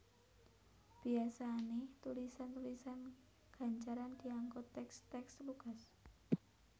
Biyasané tulisan tulisan gancaran dianggo tèks tèks lugas